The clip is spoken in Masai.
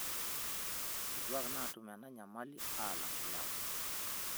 Nkituak naatum ena nyamali alng' ilewa.